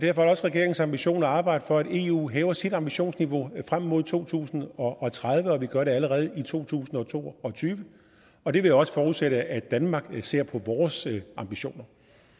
er det også regeringens ambition at arbejde for at eu hæver sit ambitionsniveau frem mod to tusind og tredive og at vi gør det allerede i to tusind og to og tyve og det vil også forudsætte at danmark ser på vores ambitioner